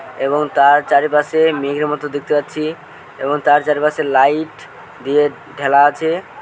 এবং তার চারিপাশে-এ মেঘের মতো দেখতে পাচ্ছি। এবং তার চারপাশের লাইট দিয়ে ঢেলা আছে--